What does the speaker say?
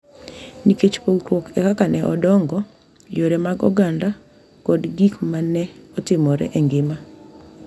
Nikech pogruok e kaka ne odongo, yore mag oganda, kod gik ma ne otimore e ngima.